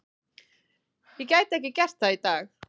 Ég gæti ekki gert það í dag.